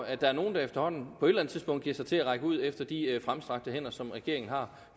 at der er nogle der efterhånden på et eller andet tidspunkt giver sig til at række ud efter de fremstrakte hænder som regeringen har